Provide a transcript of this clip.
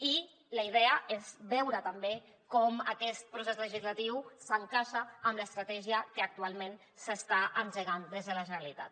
i la idea és veure també com aquest procés legislatiu s’encaixa amb l’estratègia que actualment s’està engegant des de la generalitat